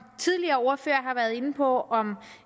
tidligere ordførere har været inde på om